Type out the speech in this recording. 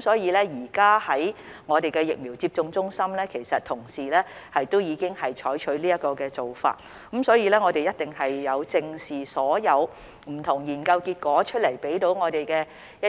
所以，現時在疫苗接種中心的同事已經採取這做法，我們是有正視所有不同研究結果向我們提